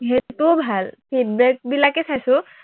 সেইটো ভাল, feedback বিলাকেই চাইছো